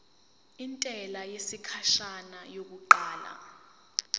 intela yesikhashana yokuqala